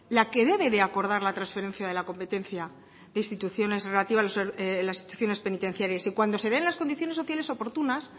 la que debe de acordar la transferencia de la competencia de instituciones relativa las instituciones penitenciarias y cuando se den las condiciones sociales oportunas